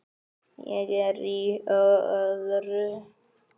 Ég er í öðru.